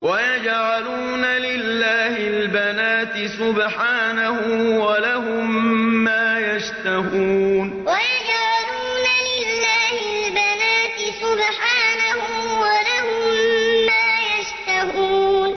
وَيَجْعَلُونَ لِلَّهِ الْبَنَاتِ سُبْحَانَهُ ۙ وَلَهُم مَّا يَشْتَهُونَ وَيَجْعَلُونَ لِلَّهِ الْبَنَاتِ سُبْحَانَهُ ۙ وَلَهُم مَّا يَشْتَهُونَ